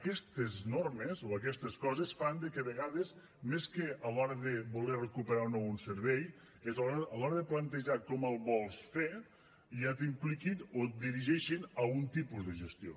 aquestes normes o aquestes coses fan que a vegades més que a l’hora de voler recuperar o no un servei a l’hora de plantejar com el vols fer ja t’impliquin o et dirigeixin a un tipus de gestió